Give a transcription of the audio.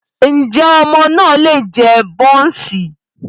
Ǹjẹ́ ọmọ náà lè jẹ bọ́ọ̀ǹsì?